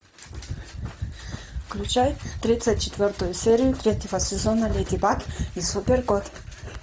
включай тридцать четвертую серию третьего сезона леди баг и супер кот